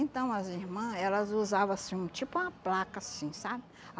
Então, as irmã, elas usavam, assim, tipo uma placa, assim, sabe?